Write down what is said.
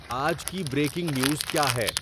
آج کی breaking news کیا ہے